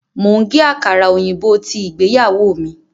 Mò ń gé àkàrà òyìnbó tí ìgbéyàwó mi